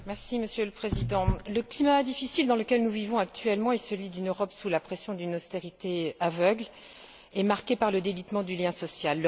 Monsieur le Président, le climat difficile dans lequel nous vivons actuellement est celui d'une Europe sous la pression d'une austérité aveugle, marquée par le délitement du lien social.